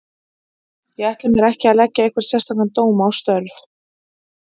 Ég ætla mér ekki að leggja einhvern sérstakan dóm á störf